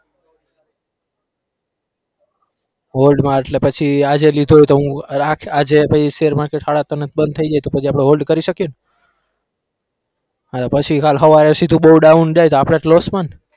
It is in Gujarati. hold માં એટલે પછી આજે લીધો હોય તો હું આજે હું શેર માં પછી hold કરી શકીએ પછી કાલ હવારે સીધો બહુ down જાય તો આપડે તો loss માં ને